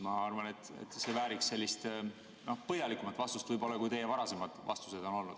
Ma arvan, et see vääriks põhjalikumat vastust võib-olla, kui teie varasemad vastused on olnud.